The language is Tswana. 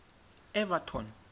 evaton